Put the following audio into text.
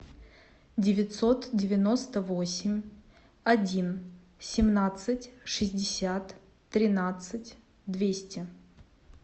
девятьсот девяносто восемь один семнадцать шестьдесят тринадцать двести